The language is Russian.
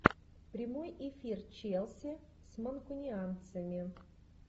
прямой эфир челси с манкунианцами